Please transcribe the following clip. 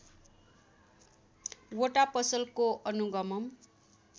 वटा पसलको अनुगमन